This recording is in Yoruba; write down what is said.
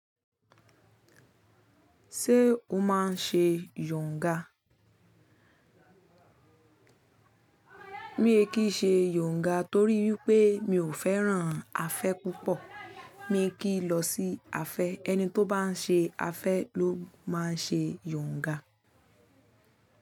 Ṣé o máa ń ṣe yòǹga? Mi ò kí ń ṣe yòǹga torí wípé mi ò fẹ́ràn afẹ́ púpọ̀. Mi ò kí lọ sí afẹ́, ẹni tó bá ń ṣe afẹ́ ló máa ń ṣe yòǹga.